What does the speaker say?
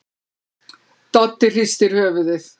Doddi hristir höfuðið.